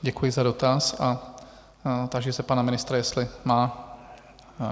Děkuji za dotaz a táži se pana ministra, jestli má...